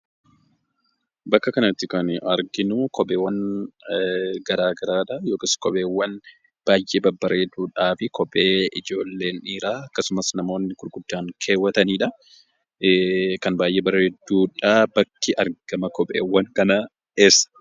Bakka kanatti kan arginu, qopheewwan garaagaraadha .Yookiis qopheewwan baay'ee babbareedoodhaafi qophee ijoolleen dhiiraa akkasumas namoonni gurguddaan keewwataniidha. Kan baay'ee bareeduudha. Bakki argama qopheewwan kanaa eessa?